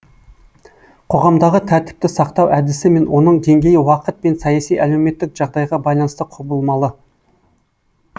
қоғамдағы тәртіпті сақтау әдісі мен оның деңгейі уақыт пен саяси әлеуметтік жағдайға байланысты құбылмалы